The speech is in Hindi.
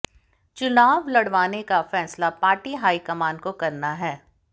चुनाव लड़वाने का फैसला पार्टी हाईकमान को करना है